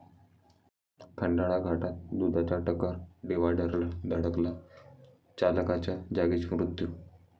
खंडाळा घाटात दुधाचा टँकर डिव्हायडरला धडकला, चालकाचा जागीच मृत्यू